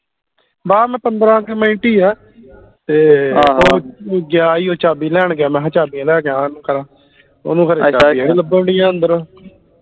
ਬਹਿ ਮੈ ਪੰਦਰਾਂ ਕਿ ਮਿੰਟ ਈ ਆ ਤੇ ਉਹ ਗਿਆ ਈ ਉਹ ਚਾਬੀ ਲੈਣ ਗਿਆ ਮੈ ਹਾਂ ਚਾਬੀਆਂ ਲੈ ਜਾ ਉਹਨੂੰ ਕਾ ਓਹਨੂੰ ਖਰੇ ਚਾਬੀਆਂ ਨੀ ਲਬਨ ਦੀਆ ਅੰਦਰੋਂ